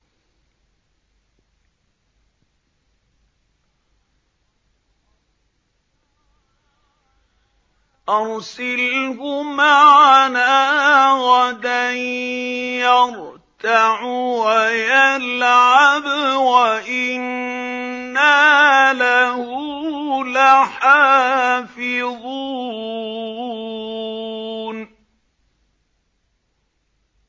أَرْسِلْهُ مَعَنَا غَدًا يَرْتَعْ وَيَلْعَبْ وَإِنَّا لَهُ لَحَافِظُونَ